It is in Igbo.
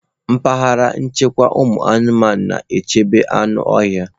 Mpaghara nchekwa ụmụanụmanụ. na-echebe anụ ọhịa.